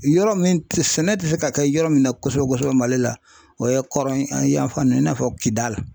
Yɔrɔ min tɛ, sɛnɛ tɛ se ka kɛ yɔrɔ min na kosɛbɛ kosɛbɛ Mali la, o ye kɔrɔn yan fan ninnu i n'a fɔ Kidali .